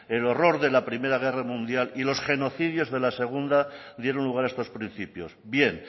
el horror de la primero guerra mundial y los genocidios de la segundo dieron lugar a estos principios bien